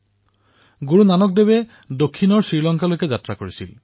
দক্ষিণত গুৰুনানক দেৱজীয়ে শ্ৰীলংকা পৰ্যন্ত যাত্ৰা কৰিছিল